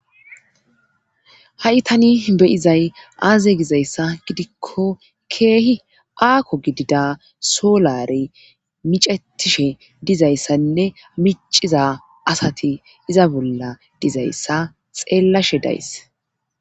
ha7i tani beyizay aaze gizayssa gidikko keehi aakko gidida soolare micettishe dizayssanne miciza asati iza bolla dizayssa xeellashe days